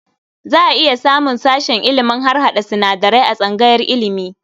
Za a iya samun sashen ilimin harhaɗa sinadarai a tsangayar ilimi.